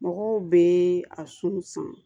Mɔgɔw bɛ a sun san